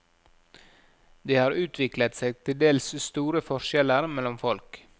Det har utviklet seg til dels store forskjeller mellom folk.